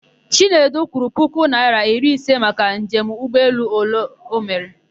Chinedu kwụrụ puku naịra iri ise maka njem ụgbọelụ o mere.